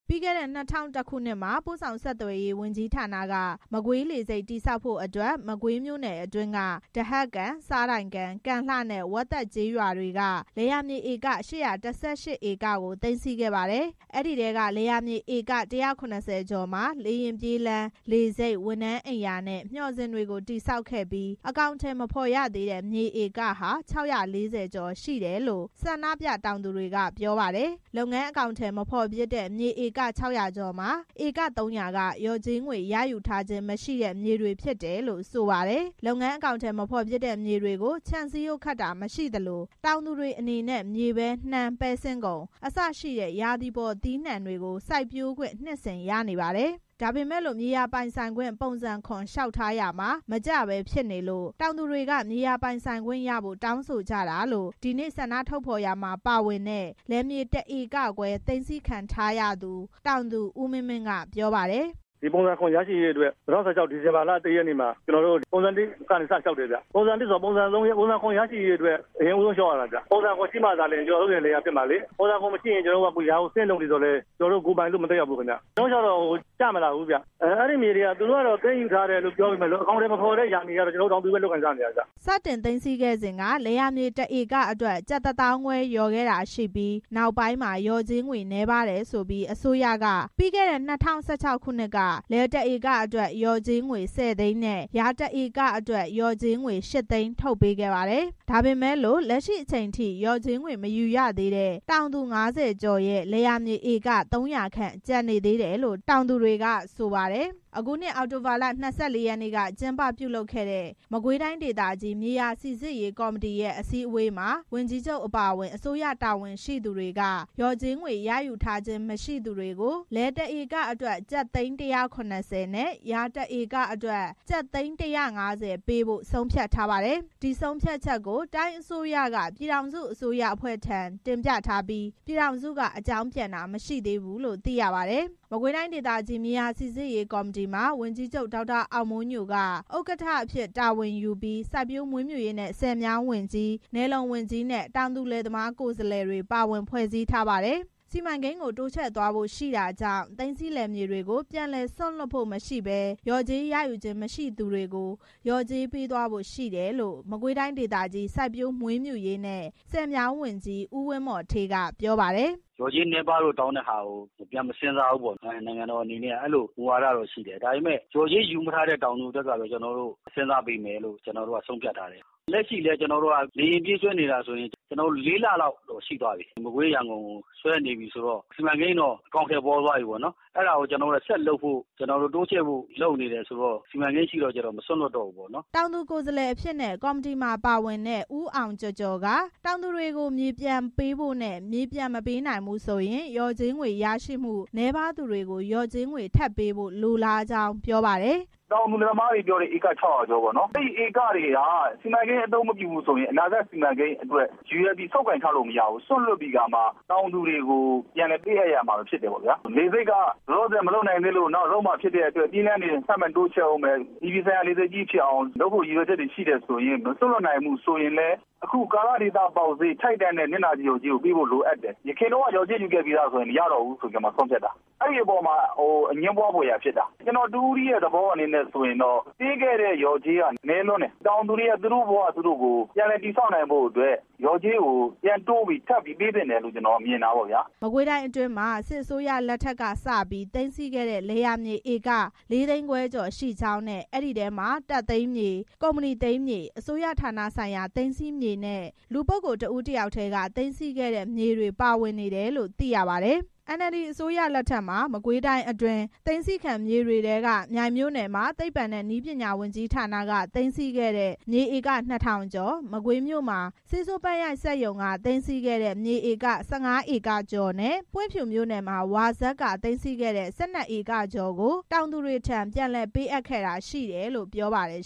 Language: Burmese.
ပြီးခဲ့တဲ့ ၂၀၀၁ ခုနှစ်မှာ ပို့ဆောင်ဆက်သွယ်ရေးဝန်ကြီးဌာနက မကွေးလေဆိပ်တည်ဆောက်ဖို့အတွက် မကွေးမြို့နယ်အတွင်းက ဒဟတ်ကန်၊ ဆားတိုင်ကန်၊ ကံလှနဲ့ ဝက်သက်ကျေးရွာတွေက လယ်ယာမြေဧက ၈၁၈ ဧကကို သိမ်းဆည်းခဲ့ပါတယ်။ အဲဒီထဲက လယ်ယာမြေ ဧက ၁၇၀ ကျော်မှာ လေယာဉ်ပြေးလမ်း၊ လေဆိပ်၊ ဝန်ထမ်းအိမ်ယာနဲ့ မျှော်စင်တွေကို တည်ဆောက်ခဲ့ပြီး အကောင်အထည်မဖော်ရသေးတဲ့ မြေဧကဟာ ၆၄၀ ကျော်ရှိတယ်လို့ ဆန္ဒပြတောင်သူတွေ က ပြောပါတယ်။ လုပ်ငန်းအကောင်အထည်မဖော်ဖြစ်တဲ့ မြေဧက ၆၀၀ ကျော်မှာ ဧက ၃၀၀ က လျော်ကြေးငွေ ရယူထားခြင်း မရှိတဲ့ မြေတွေဖြစ်တယ်လို့ ဆိုပါတယ်။ လုပ်ငန်းအကောင်အထည်မဖော်ဖြစ်တဲ့ မြေတွေကို ခြံစည်းရိုးခတ်တာမရှိသလို တောင်သူတွေအနေနဲ့ မြေပဲ၊ နှမ်း၊ ပဲစင်းကုန် အစရှိတဲ့ ရာသီပေါ်သီးနှံတွေ စိုက်ပျိုးခွင့် နှစ်စဉ်ရနေပါတယ်။ ဒါပေမဲ့လို့ မြေယာပိုင်ဆိုင်ခွင့် ပုံစံ လျှောက်ထားရာမှာမကျဘဲဖြစ်နေလို့ တောင်သူတွေက မြေယာပိုင်ဆိုင်ခွင့် ရဖို့ တောင်းဆိုကြတာလို့ ဒီနေ့ဆန္ဒထုတ်ဖော်ရမှာ ပါဝင်တဲ့ လယ်မြေ ၁ ဧကခွဲ သိမ်းဆည်းခံထားရသူ တောင်သူ ဦးမင်းမင်း က ပြောပါတယ်။ “ပုံစံ ရရှိဖို့အတွက် ၂၀၁၆ ခုနှစ် ဒီဇင်ဘာလ ၁ ရက်နေ့မှာ ကျနော်တို့ ပုံစံ ကနေ စလျှောက်တယ်ဗျ။ ပုံစံ ဆိုတာ ပုံစံ ရရှိရေးအတွက် အရင်ဦးဆုံးလျှောက်ရတာဗျ။ ပုံစံ ရှိမှသာလျှင် ကျနော်တို့ရဲ့ လယ်ယာဖြစ်မှာလေ။ ပုံစံ မရှိရင် ကျနော်တို့က အခုယာကို ဆင်းလုပ်နေသော်လည်း ကျနော်တို့ ကိုယ်ပိုင်လို့ မသက်ရောက်ဘူးခင်ဗျ။ ကျနော်တို့လျှောက်တော့ မကျလာဘူးခင်ဗျ။ အဲဒီမြေတွေက သိမ်းဆည်းထားတယ်ဆိုပေမယ့် အကောင်အထည်မဖော်တဲ့ ယာမြေတွေကတော့ ကျနော်တို့ တောင်သူပဲ လုပ်ကိုင်စားသောက်နေတာပဲ ခင်ဗျ။” စတင်သိမ်းဆည်းခဲ့စဉ်က လယ်ယာမြေတစ်ဧကအတွက် ကျပ်တစ်သောင်းခွဲလျော်ခဲ့တာရှိပြီး နောက်ပိုင်းမှာ လျော်ကြေးငွေ နည်းပါးတယ်ဆိုပြီး အစိုးရက ပြီးခဲ့တဲ့ ၂၀၁၆ ခုနှစ်က လယ် ၁ ဧကအတွက် လျော်ကြေး ၁၀ သိန်းနဲ့ ယာတစ်ဧကအတွက် လျော်ကြေး ၈ သိန်း ထုတ်ပေးခဲ့ပါတယ်။ ဒါပေမဲ့ လက်ရှိအချိန်အထိ လျော်ကြေးငွေမယူသေးတဲ့ တောင်သူ ၅၀ ကျော်ရဲ့ လယ်ယာမြေ ဧက ၃၀၀ ခန့် ကျန်နေသေးတယ်လို့ တောင်သူတွေက ဆိုပါတယ်။ အခုနှစ် အောက်တိုဘာလ ၂၄ ရက်နေ့က ကျင်းပပြုလုပ်ခဲ့တဲ့ မကွေးတိုင်းဒေသကြီး မြေယာစိစစ်ရေးကော်မတီ ရဲ့ အစည်းအဝေးမှာ ဝန်ကြီးချုပ်အပါအဝင် အစိုးရတာဝန်ရှိသူတွေက လျော်ကြေးငွေရယူထားခြင်း မရှိသူတွေ ကို လယ်တစ်ဧကအတွက် ကျပ်သိန်း ၁၇၀ နဲ့ ယာတစ်ဧကအတွက် ကျပ်သိန်း ၁၅၀ ပေးဖို့ ဆုံးဖြတ်ထား ပါတယ်။ ဒီဆုံးဖြတ်ချက်ကို တိုင်းအစိုးရက ပြည်ထောင်စုအစိုးရအဖွဲ့ထံ တင်ပြထားပြီး ပြည်ထောင်စုက အကြောင်း ပြန်တာ မရှိသေးဘူးလို့ သိရပါတယ်။ မကွေးတိုင်းဒေသကြီး မြေယာစိစစ်ရေးကော်မတီမှာ ဝန်ကြီးချုပ် ဒေါက်တာအောင်မိုးညိုက ဥက္ကဋ္ဌအဖြစ် တာဝန်ယူပြီး စိုက်ပျိုးမွေးမြူရေးနဲ့ ဆည်မြောင်းဝန်ကြီး၊ နယ်လုံဝန်ကြီးနဲ့ တောင်သူကိုယ်စားလှယ်တွေပါဝင် ဖွဲ့စည်းထားပါတယ်။ စီမံကိန်းကို တိုးချဲ့သွားဖို့ရှိတာကြောင့် သိမ်းဆည်းမြေတွေကို ပြန်လည်စွန့်လွှတ်ဖို့မရှိဘဲ လျော်ကြေးရယူရခြင်း မရှိသေးသူတွေကို လျော်ကြေးပေးသွားဖို့ ရှိတယ်လို့ မကွေးတိုင်းဒေသကြီး စိုက်ပျိုးမွေးမြူရေးနဲ့ ဆည်မြောင်း ဝန်ကြီး ဦးဝင်းမော်ဌေးက ပြောပါတယ်။ “လျော်ကြေးနည်းပါးတဲ့ဟာကို ပြန်မစဉ်းစားဘူးပေါ့ဗျာ၊ နိုင်ငံတော်အနေနဲ့က အဲလိုမူဝါဒတော့ရှိတယ်။ ဒါပေမဲ့ လျော်ကြေးမယူရသေးတဲ့ တောင်သူအတွက်ကတော့ စဉ်းစားပေးမယ်လို့ ကျနော်တို့က ဆုံးဖြတ် ထားတယ်။ လက်ရှိလည်း လေယာဉ်ပြေးဆွဲနေတာဆိုရင် လေးလလောက်တော့ရှိသွားပြီ။ မကွေး-ရန်ကုန် ကို ဆွဲနေပြီဆိုတော့ စီမံကိန်းတော့ အကောင်အထည်ဖော်သွားပြီပေါ့။ အဲဒါကိုဆက်လုပ်ဖို့ တိုးချဲ့ဖို့ လုပ်နေတယ်ဆိုတော့ စီမံကိန်းရှိတော့ ကျနော်တို့က မစွန့်လွှတ်တော့ဘူးပေါ့နော်။” တောင်သူကိုယ်စားလှယ်အဖြစ်နဲ့ ကော်မတီမှာ ပါဝင်တဲ့ ဦးအောင်ကျော်ကျော်က တောင်သူတွေကို မြေပြန်ပေးဖို့နဲ့ မြေပြန်မပေးနိုင်ရင် လျော်ကြေးငွေ ရရှိမှုနည်းပါးသူတွေကိုပါ လျော်ကြေးထပ်ပေးဖို့ လိုလားကြောင်း ပြောပါတယ်။ “တောင်သူလယ်သမားတွေ ပြောတဲ့ ဧက ၆၀၀ ကျော်ပေါ့။ အဲဒီဧကတွေက စီမံကိန်းအသုံးမပြုဘူးဆိုရင် အနာဂတ်စီမံကိန်းအတွက်ရည်ရွယ်ပြီး ဆုပ်ကိုင်ထားလို့မရဘူး။ စွန့်လွှတ်ပြီး တောင်သူတွေကို ပြန်လည်ပေး အပ်ရမှာဖြစ်တယ်။ လေဆိပ်က လောလောဆယ်မလုပ်နိုင်သေးလို့ နောက်လုပ်မှာဖြစ်တယ်။ ပြေးလမ်းတွေ ထပ်မံတိုးချဲ့ဦးမယ်။ အပြည်ပြည်ဆိုင်ရာလေဆိပ်ကြီးဖြစ်အောင်လုပ်ဖို့ ရည်ရွယ်ချက်တွေရှိတယ်။ မစွန့်လွှတ်နိုင်ဘူးဆိုရင် အခုကာလဒေသပေါက်ဈေး ထိုက်တန်တဲ့ပေါက်ဈေးကိုပေးဖို့ လိုအပ်တယ်။ ယခင်က လျော်ကြေးယူပြီးသားဆိုရင် မရတော့ဘူးလို့ ဆုံးဖြတ်တာ။ အဲဒီအပေါ်မှာ အငြင်းပွားဖွယ်ရာဖြစ်တာ၊ ကျနော်တစ်ဦးတည်းရဲ့သဘောဆိုရင်တော့ ပေးခဲ့တဲ့လျော်ကြေးက နည်းလွန်းတယ်။ တောင်သူတွေ သူတို့ဘဝ သူတို့ ပြန်လည်တည်ဆောက်နိုင်ဖို့ လျော်ကြေးကို ပြန်တိုးပြီး ထပ်ပြီးပေးသင့်တယ်လို့ မြင် တာပေါ့ဗျ။” မကွေးတိုင်းအတွင်းမှာ စစ်အစိုးရလက်ထက်ကစပြီး သိမ်းဆည်းခဲ့တဲ့ လယ်ယာမြေ ဧက ၄ သိန်းခွဲကျော် ရှိကြောင်းနဲ့ အဲဒီထဲမှာ တပ်သိမ်းမြေ၊ ကုမ္ပဏီသိမ်းမြေ၊ အစိုးရဌာနဆိုင်ရာ သိမ်းဆည်းမြေနဲ့ လူပုဂ္ဂိုလ်တစ်ဦး တစ်ယောက်ထဲက သိမ်းဆည်းခဲ့တဲ့မြေတွေ ပါဝင်နေတယ်လို့ သိရပါတယ်။ NLD အစိုးရလက်ထက်မှာ မကွေးတိုင်းအတွင်း သိမ်းဆည်းခံမြေတွေထဲက မြိုင်မြို့နယ်မှာ သိပ္ပံနဲ့နည်းပညာ ဝန်ကြီးဌာနက သိမ်းဆည်းခဲ့တဲ့ မြေဧက ၂၀၀၀ ကျော်၊ မကွေးမြို့မှာ ဆေးဆိုးပန်းရိုက်စက်ရုံက သိမ်းထားတဲ့ ၁၅ ဧကကျော်နဲ့ ပွင့်ဖြူမြို့နယ်မှာ ဝါစက်က သိမ်းထားတဲ့ ၁၂ ဧကကျော်ကို တောင်သူတွေထံ ပြန်လည်ပေး အပ်ခဲ့တာရှိတယ်လို့ ပြောပါတယ်